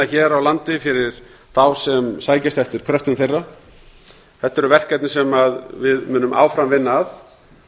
hér á landi fyrir þá sem sækjast eftir kröftum þeirra þetta eru verkefni sem við munum áfram vinna að